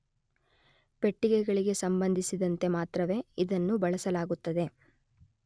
ಪೆಟ್ಟಿಗೆಗಳಿಗೆ ಸಂಬಂಧಿಸಿದಂತೆ ಮಾತ್ರವೇ ಇದನ್ನು ಬಳಸಲಾಗುತ್ತದೆ